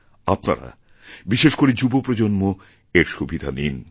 আপনারা বিশেষ করে যুব প্রজন্ম এর সুবিধা নিন